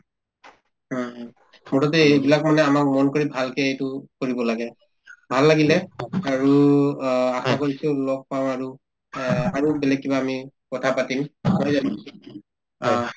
মুঠতে এইবিলাক কৰিলে আমাৰ ভালকে এইটো কৰিব লাগে ভাল লাগিলে আৰু অ আশা কৰিছো লগ পাওঁ আৰু অ আৰু বেলেগ কিবা আমি কথা পাতিম নহয় জানো আ